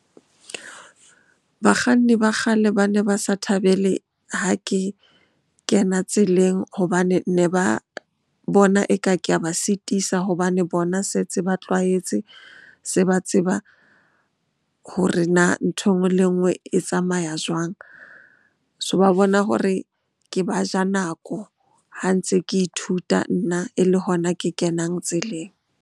Bakganni ba kgale ba ne ba sa thabele ha ke kena tseleng hobane ne ba bona eka ke a ba sitisa. Hobane bona setse ba tlwaetse, se ba tseba hore na nthwe enngwe le enngwe e tsamaya jwang? So, ba bona hore ke ba ja nako ha ntse ke ithuta nna e le hona ke kenang tseleng.